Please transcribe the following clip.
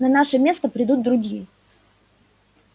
на наше место придут другие